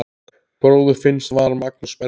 Bróðir Finns var Magnús Bergur.